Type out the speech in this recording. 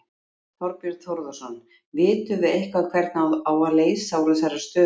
Þorbjörn Þórðarson: Vitum við eitthvað hvernig á að leysa úr þessari stöðu?